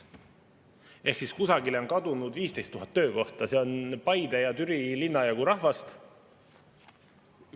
Ehk siis kusagile on kadunud 15 000 töökohta, see on Paide ja Türi linna jagu rahvast.